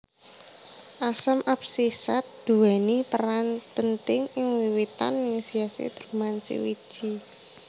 Asam absisat duweni peran penting ing wiwitan inisiasi dormansi wiji